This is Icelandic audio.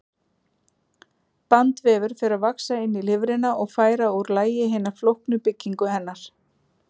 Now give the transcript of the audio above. Bandvefur fer að vaxa inn í lifrina og færa úr lagi hina flóknu byggingu hennar.